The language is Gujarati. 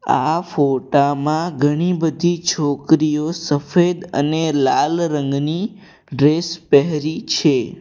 આ ફોટા માં ઘણી બધી છોકરીઓ સફેદ અને લાલ રંગની ડ્રેસ પહેરી છે.